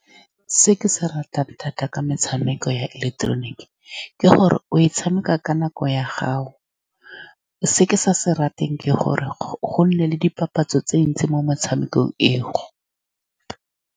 Se ke se ratang thata ka metshameko ya ileketeroniki ke gore o e tshameka ka nako ya gago. Se ke sa se rateng ke gore go-go nne le dipapatso tse dintsi mo motshamekong e go.